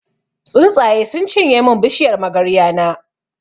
Tsuntsaye sun cinye mun bishiyar magarya na.